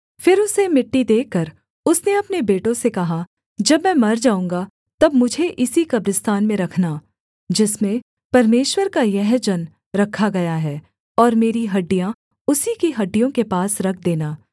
फिर उसे मिट्टी देकर उसने अपने बेटों से कहा जब मैं मर जाऊँगा तब मुझे इसी कब्रिस्तान में रखना जिसमें परमेश्वर का यह जन रखा गया है और मेरी हड्डियाँ उसी की हड्डियों के पास रख देना